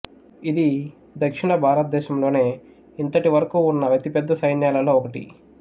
ఇది దక్షిణ భారతదేశంలోనే ఇంతటి వరకు ఉన్న అతి పెద్ద సైన్యాలలో ఒకటి